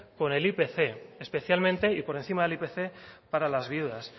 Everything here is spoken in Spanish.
con el ipc especialmente y por encima del ipc para las viudas